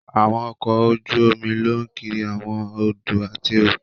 Àwọn ọkọ ojú omi lọ kiri awọn odò ati okùn